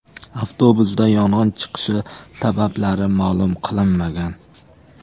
Avtobusda yong‘in chiqishi sabablari ma’lum qilinmagan.